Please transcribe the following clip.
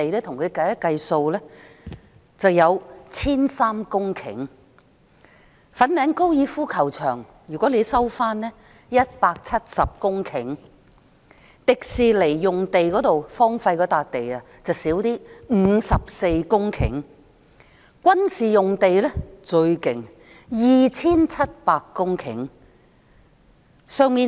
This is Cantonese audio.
如果收回粉嶺高爾夫球場，便有170公頃；迪士尼樂園用地則較少 ，54 公頃；軍事用地最多 ，2,700 公頃。